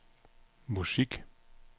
musik